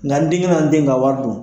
Nka n denkɛ man n den ka wari dun.